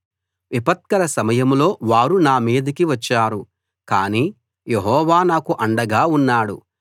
విపత్కర సమయంలో వారు నా మీదికి వచ్చారు కానీ యెహోవా నాకు అండగా ఉన్నాడు